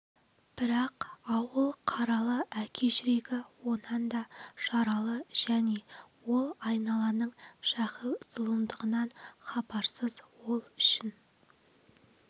бірақ ауыл қаралы әке жүрегі онан да жаралы және ол айналаның жәһил зұлымдығынан хабарсыз ол үшін